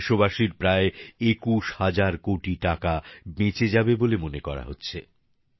এতে দেশবাসীর প্রায় ২১ হাজার কোটি টাকা বেঁচে যাবে বলে মনে করা হচ্ছে